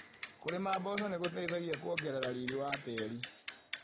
Kũrĩma mboco nĩgũteithagia kũongerera riri wa tĩri.